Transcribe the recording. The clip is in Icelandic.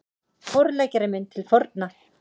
Forleggjari minn til forna